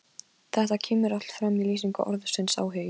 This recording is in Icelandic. Þetta kemur allt fram í lýsingu orðsins áhugi: